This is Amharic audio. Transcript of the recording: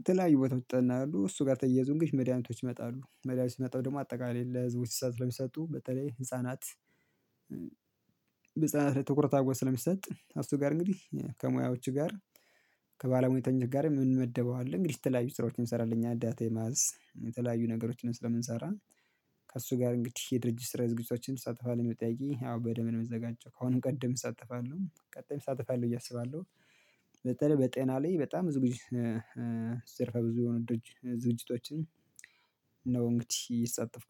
የተለያዩ ቦታዎች ይጠናሉ እሱ ጋር ተያይዞ መድኃኒቶች ይመጣሉ መድኃኒቶች ሲመጣ ደግሞ አጠቃላይ ለህዝቦች ስለሚሰጡ በተለይ ህፃናት ህፃናት ላይ ትኩረት አርጎ ስለሚሰጥ እሱ ጋር እንግዲህ ከሙያዎች ጋር። ከባለሙያተኞች ጋር ምን እንመደበዋለን አለ እንግዲህ የተለያዩ ስራዎችን እንሰራለን ዳታ የማዝ የተለያዩ ነገሮችን ስለምንሰራ። ከእሱ ጋር እንግዲህ የድርጅት ስራ ዝግጁቶችን ተሳትፏል የምትጠይቂ ያው በደም የምትዘጋጀው ከአሁንም ቀደም እሳተፋለሁ ቀጣይም እሳተፋለሁ ብየ እያሰባለሁ። በጤና ላይ በጣም ዝግጅ ዘርፈ ብዙ ዝግጅቶችን ነው። እንግዲህ እየተሳተፍኩ